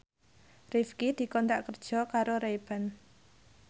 Rifqi dikontrak kerja karo Ray Ban